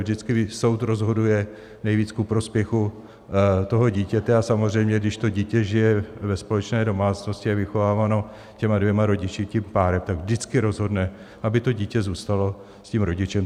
Vždycky soud rozhoduje nejvíc ku prospěchu toho dítěte, a samozřejmě když to dítě žije ve společné domácnosti a je vychováváno těmi dvěma rodiči, tím párem, tak vždycky rozhodne, aby to dítě zůstalo s tím rodičem.